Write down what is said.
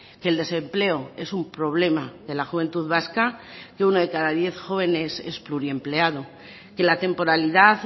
que el desempleo es un problema de la juventud vasca que uno de cada diez jóvenes es pluriempleado que la temporalidad